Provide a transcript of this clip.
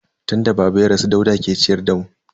Tun da baba ya rasu Dauda ke ciyar da mu.